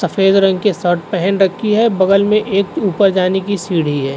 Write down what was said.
सफेद रंग की शर्ट पहन रखी है। बगल में एक ऊपर जाने की सीढ़ी है।